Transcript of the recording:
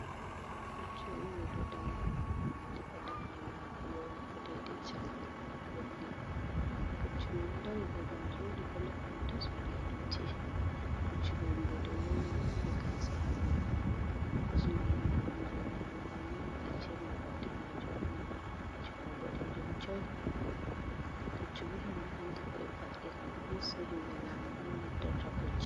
Puccu on ngu ɗo dari, diga daande maagu yahugo deedey caka maagu ɓe holli. Puccu man ɗo dari babal jooɗi bo laaɓɗum tas, walaa dotti. Puccu man mboɗeewu on ngu ɗo mari gaasa ha dow, kosngal maagu jey nyaamo ɗoo ni ƙarce may ba daneejum, ɓanndu may ha puccu may boɗeejum coy. Puccu bo himɓe anndi beɗo va'’ira ɗum, mostli himɓe laamu ɗon naftira Puccu.